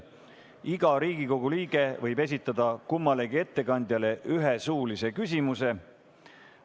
Iga Riigikogu liige võib esitada kummalegi ettekandjale ühe suulise küsimuse.